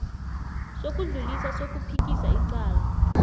sokudlulisa sokuphikisa icala